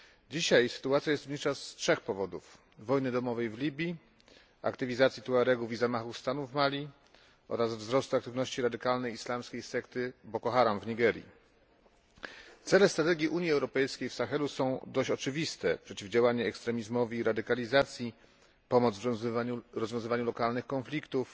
Dzisiaj sytuacja jest zasadnicza z trzech powodów wojny domowej w Libii, aktywizacji Tuaregów i zamachów stanu w Mali oraz wzrostu aktywności radykalnej islamskiej sekty Boko Haram w Nigerii. Cele strategii Unii Europejskiej w Sahelu są dość oczywiste przeciwdziałanie ekstremizmowi i radykalizacji, pomoc w rozwiązywaniu lokalnych konfliktów,